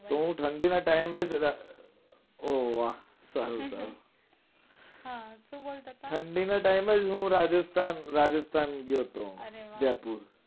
તો હું ઠંડી ના time એ જ ઓહ વાહ સારું સારું હા તો શું બોલતા તા? ઠંડી ના time એ જ હું રાજસ્થાન ગયો તો. અરે વાહ